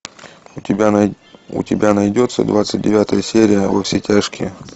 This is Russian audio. у тебя найдется двадцать девятая серия во все тяжкие